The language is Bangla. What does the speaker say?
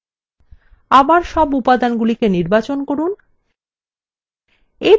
আবার সব উপাদানগুলিকে নির্বাচন করুন